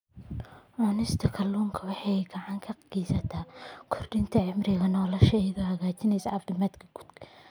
Cunista kalluunka waxay gacan ka geysataa kordhinta cimriga nolosha iyadoo hagaajinaysa caafimaadka guud.